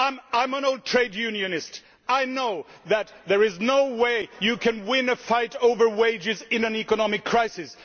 I am an old trade unionist and I know that there is no way you can win a fight over wages in an economic crisis.